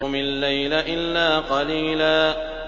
قُمِ اللَّيْلَ إِلَّا قَلِيلًا